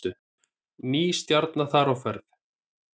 Ný stjarna þar á ferð